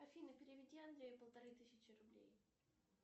афина переведи андрею полторы тысячи рублей